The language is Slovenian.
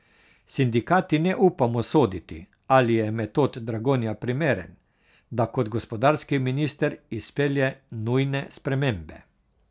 Sindikati ne upamo soditi, ali je Metod Dragonja primeren, da kot gospodarski minister izpelje nujne spremembe.